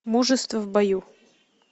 мужество в бою